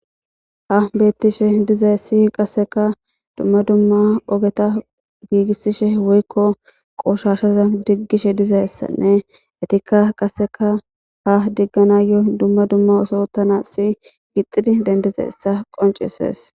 Ha beettishe dizay si qasseka dumma dumma ogeta giigissishe woykko qooshashaza diggishe dizayssanne etikka qasseka ha diggana yoy dumma dumma osootana si gixidi dendizessa qoncises.